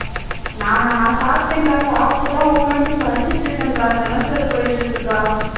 நானா நான் சாப்பிட்டேன்கா சாப்பிட்டுதான் உட்காந்து படிச்சிட்டு இருக்கேன்கா semester போயிட்டு இருக்குகா